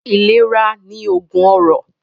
Ìlera ni oògùn ọrọ̀